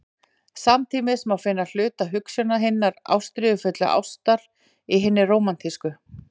Samtímis má finna hluta hugsjónar hinnar ástríðufullu ástar í hinni rómantísku.